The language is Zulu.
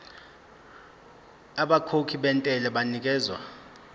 abakhokhi bentela banikezwa